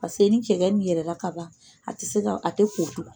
Paseke ni cɛgɛ ni yɛlɛ la ka ban, a tɛ se ka , a tɛ ko tugun,